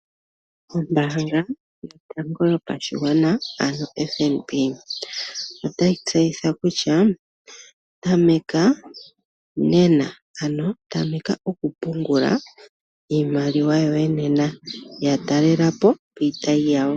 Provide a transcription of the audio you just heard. Ombaanga yotango yopashigwana ano FNB otayi tseyitha kutya tameka nena, ano tameka okupungula iimaliwa yoye nena. Ya talela po piitayi yawo.